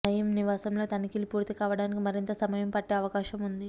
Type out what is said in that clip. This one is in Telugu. నయీం నివాసంలో తనిఖీలు పూర్తి కావడానికి మరింత సమయం పట్టే అవకాశం ఉంది